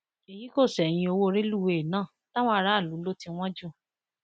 èyí kò ṣẹyìn owó rélùwéè náà táwọn aráàlú lò tí wọn jù